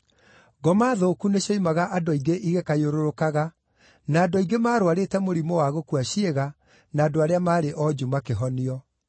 Ngoma thũku nĩcioimaga andũ aingĩ igĩkayũrũrũkaga, na andũ aingĩ maarũarĩte mũrimũ wa gũkua ciĩga, na andũ arĩa maarĩ onju makĩhonio.